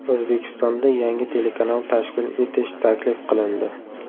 O‘zbekistonda yangi telekanal tashkil etish taklif qilindi.